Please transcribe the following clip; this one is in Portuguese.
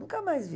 Nunca mais vi.